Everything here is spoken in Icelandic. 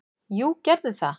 """Jú, gerðu það!"""